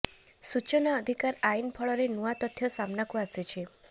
ସୂଚନା ଅଧିକାର ଆଇନ ଫଳରେ ନୂଆ ତଥ୍ୟ ସାମ୍ନାକୁ ଆସିଛି